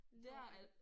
Nårh ej